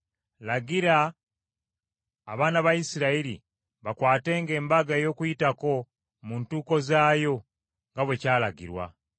“Lagira abaana ba Isirayiri bakwatenga Embaga ey’Okuyitako mu ntuuko zaayo nga bwe kyalagirwa.